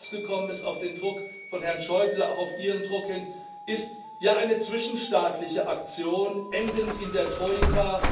Was herausgekommen ist auf den Druck von Herrn Schäuble, auch auf Ihren Druck hin ist, ja, eine zwischenstaatliche Aktion, endend in der Troika.